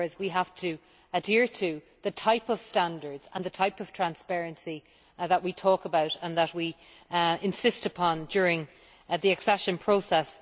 In other words, we have to adhere to the type of standards and the type of transparency that we talk about and that we insist upon during the accession process.